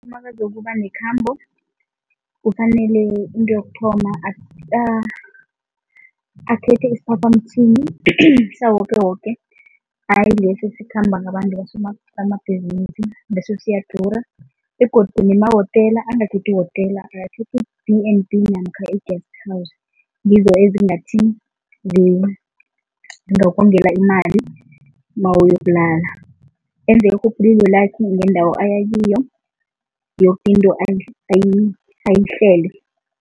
Umakazokuba nekhambo kufanele into yokuthoma akhethe isiphaphamtjhini sawokewoke hayi lesi esikhamba ngabantu abosomabhizinisi, leso siyadura begodu nemahotela angakhethi ihotela, akakhethe i-B_N_B namkha i-guest house, ngizo ezingathi zingakongela imali mawuyokulala. Enze irhubhululo lakhe ngendawo ayakiyo, yoke into ayihlele.